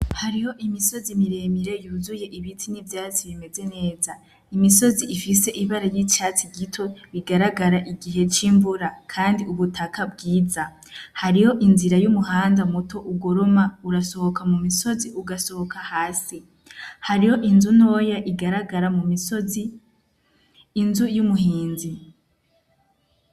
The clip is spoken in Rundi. Hariho imisozi miremire yuzuye ibiti n'ivyatsi bimeze neza imisozi ifise ibara y'icatsi gito bigaragara igihe c'imvura, kandi ubutaka bwiza hariho inzira y'umuhanda muto ugoroma urasohoka mu misozi ugasohoka hasi hariho inzunoya igaragara mu misozi inzo y'umuhinzi.